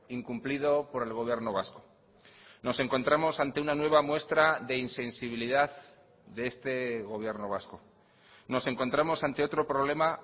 incumplido por el gobierno vasco nos encontramos ante una nueva muestra de insensibilidad de este gobierno vasco nos encontramos ante otro problema